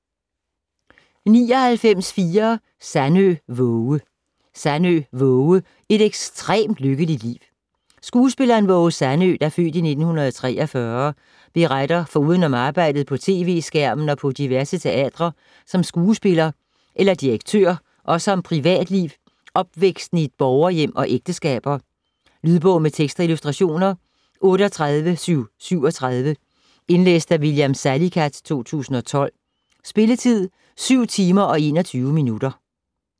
99.4 Sandø, Waage Sandø, Waage: Et ekstremt lykkeligt liv Skuespilleren Waage Sandø (f. 1943) beretter foruden om arbejdet på tv-skærmen og på diverse teatre som skuespiller eller direktør også om privatliv, opvæksten i et borgerhjem og ægteskaber. Lydbog med tekst og illustrationer 38737 Indlæst af William Salicath, 2012. Spilletid: 7 timer, 21 minutter.